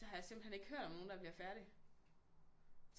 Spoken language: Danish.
Så har jeg simpelthen ikke hørt om nogen der bliver færdig